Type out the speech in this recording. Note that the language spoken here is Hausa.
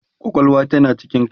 kwakwalwa tana cikin kai